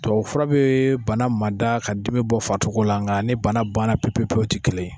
Fura bɛ bana mada ka dimi bɔ farisogo la nka ni banna pewu- pewu o ti kelen ye